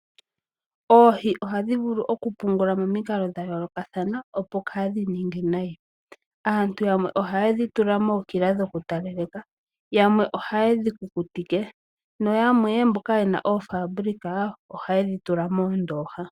Oohi ohadhi vulu oku pungulwa momikalo dha yoolokathana opo kaadhi ninge nayi. Aantu yamwe ohaye dhi tula mookila dhoku ta laleka, yamwe ohaye dhi kukutike noshowo yamwe mboka yena oofaabulika ohaye dhi tula moondoha.